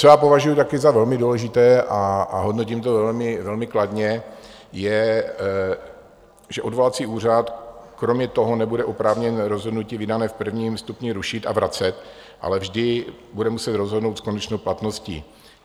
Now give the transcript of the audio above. Co já považuju taky za velmi důležité a hodnotím to velmi kladně, je, že odvolací úřad kromě toho nebude oprávněn rozhodnutí vydané v prvním stupni rušit a vracet, ale vždy bude muset rozhodnout s konečnou platností.